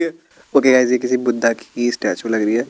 Okay guys ये किसी बुद्धा की स्टेचू लग रही है।